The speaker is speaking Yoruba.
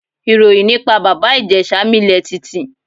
Ìròyìn nípa Bàbá Ìjẹ̀ṣà milẹ̀ tìtì.